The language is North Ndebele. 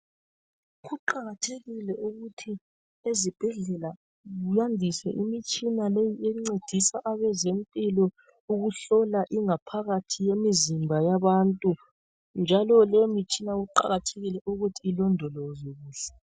Kuqakathekile ukuthi ezibhedlela kuyandiswe imitshina leyi encedisa abezempilo ukuhlola ingaphakathi yemizimba yabantu njalo leyi mitshina kuqakathekile ukuthi ilondolozwe kuhle.